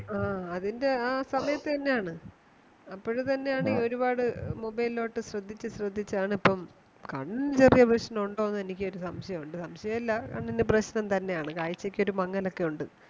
ആ അതിന്റെ ആ സമയതന്നെയാണ് അപ്പോഴും ഇത് തന്നെ ആണ് ഈ ഒരുപാട് Mobile ലോട്ട് ശ്രദ്ധിച്ചു ആണ് ഇപ്പൊ കണ്ണിന് ചെറിയ പ്രശ്നമുണ്ടോ എന്നൊരു സംശയം ഉണ്ട് സംശയം അല്ല കണ്ണിനു പ്രശ്നം തന്നെയാണ് കാഴ്ചക്കൊരുക്കെമങ്ങലൊക്കേണ്ട്